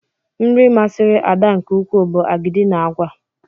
Nri masịrị Ada nke ukwuu bụ agidi na àgwà.